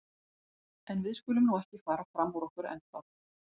En við skulum nú ekki fara fram úr okkur ennþá.